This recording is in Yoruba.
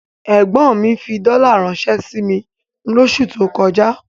Ẹ̀gbọ́n mi fi dọ́là ránṣẹ́ sí mi lóṣù tó kọjá.